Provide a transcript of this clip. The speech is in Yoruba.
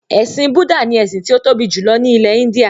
“Ẹ̀sìn Bùdá” ni ẹ̀sìn tí ó tóbi jùlọ ní ilẹ̀-Íńdíà.